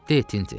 De, Tinti.